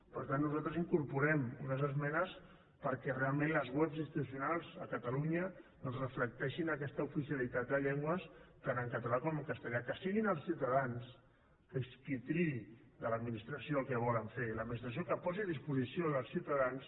per tant nosaltres incorporem unes esmenes perquè realment les webs institucionals a catalunya doncs reflecteixin aquesta oficialitat de llengües tant en català com en castellà que siguin els ciutadans qui triï de l’administració el que volen fer l’administració que posi a disposició dels ciutadans